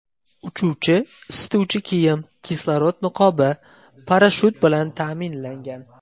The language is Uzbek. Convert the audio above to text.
Uchuvchi isituvchi kiyim, kislorod niqobi, parashyut bilan ta’minlangan.